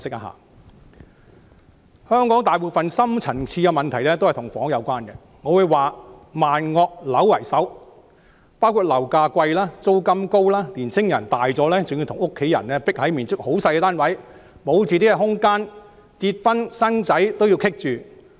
香港大部分深層次問題跟房屋有關，我會說"萬惡樓為首"，包括樓價貴、租金高、青年人長大後還要與家人擠迫地住在面積很細小的單位，沒有自己的空間，連結婚生子也受到阻礙。